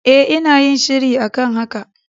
E, ina yin shiri a kan haka.